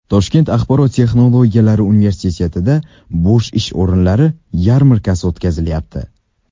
Toshkent axborot texnologiyalari universitetida bo‘sh ish o‘rinlari yarmarkasi o‘tkazilyapti.